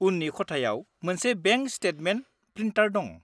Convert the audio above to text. -उननि खथायाव मोनसे बेंक स्टेटमेन्ट प्रिन्टार दं।